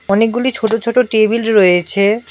অনেকগুলি ছোট ছোট টেবিল রয়েছে।